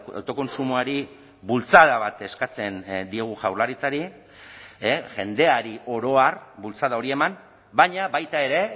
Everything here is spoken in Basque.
autokontsumoari bultzada bat eskatzen diogu jaurlaritzari jendeari oro har bultzada hori eman baina baita ere